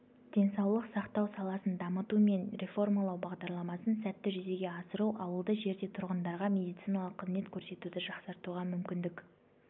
денсаулық сақтау саласын дамыту мен реформалау бағдарламасын сәтті жүзеге асыру ауылды жерде тұрғындарға медициналық қызмет көрсетуді жақсартуға мүмкіндік